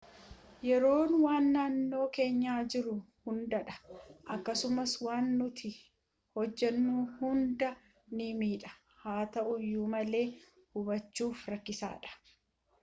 yeroon waan naannoo keenya jiruu hunda dha akkasuma waan nuti hojaannu hunda nii miidha haa ta'uyyu malee hubbachuf rakkisadhaa